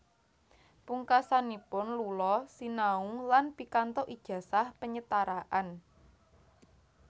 Pungkasanipun Lula sinau lan pikantuk ijazah penyetaraan